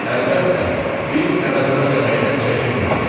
əlbəttə, biz əvəzini ödəməkdən çəkinmirik.